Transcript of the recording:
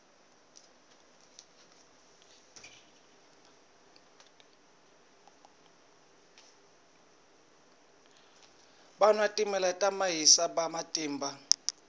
va nwa timayisele vana matimba